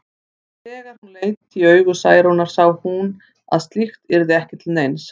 En þegar hún leit í augu Særúnar sá hún að slíkt yrði ekki til neins.